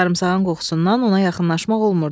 Sarımsağın qoxusundan ona yaxınlaşmaq olmurdu.